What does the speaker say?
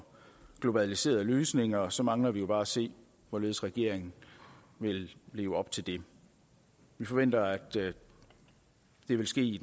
globaliserede løsninger så mangler vi jo bare at se hvorledes regeringen vil leve op til det vi forventer at det vil ske